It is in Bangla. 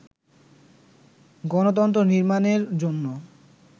গণতন্ত্র নির্মাণের জন্য